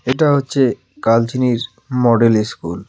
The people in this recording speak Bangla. এটা হচ্ছে কালচিনির মডেল ইস্কুল .